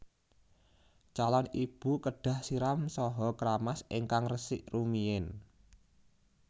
Calon ibu kedah siram saha kramas ingkang resik rumiyin